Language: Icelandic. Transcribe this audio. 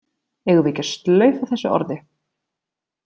Eigum við ekki að slaufa þessu orði?